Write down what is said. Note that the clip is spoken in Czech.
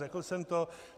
Řekl jsem to.